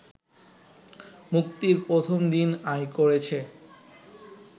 মুক্তির প্রথম দিন আয় করেছে